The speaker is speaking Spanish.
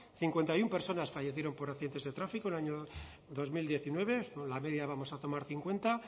cincuenta y uno personas fallecieron por accidentes de tráfico el año dos mil diecinueve la media vamos a tomar cincuenta